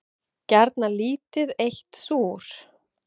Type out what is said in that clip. Gjarnan lítið eitt súr.